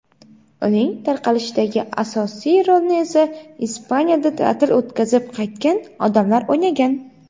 uning tarqalishidagi asosiy rolni esa Ispaniyada ta’til o‘tkazib qaytgan odamlar o‘ynagan.